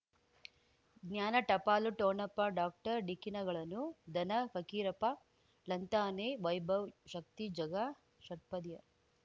ಜ್ಞಾನ ಟಪಾಲು ಠೊಣಪ ಡಾಕ್ಟರ್ ಢಿಕ್ಕಿ ಣಗಳನು ಧನ ಫಕೀರಪ್ಪ ಳಂತಾನೆ ವೈಭವ್ ಶಕ್ತಿ ಝಗಾ ಷಟ್ಪದಿಯ